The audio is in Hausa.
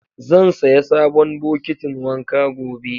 Zan saya sabon bokitin wanka gobe.